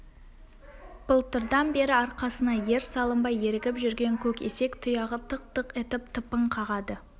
былтырдан бері арқасына ер салынбай ерігіп жүрген көк есек тұяғы тық-тық етіп тыпың қағады